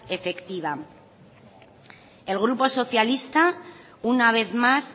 efectiva el grupo socialista una vez más